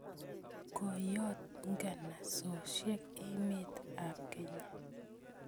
Koyot nganasosyek emet ap Kenya